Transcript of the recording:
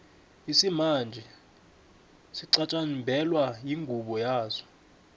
isimanje sixhatjibelwa ingubo yaso